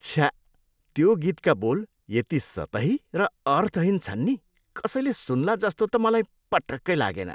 छ्या, त्यो गीतका बोल यति सतही र अर्थहीन छन् नि कसैले सुन्ला जस्तो त मलाई पटक्कै लागेन।